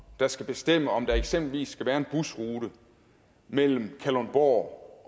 der skal bestemme om der eksempelvis skal være en busrute mellem kalundborg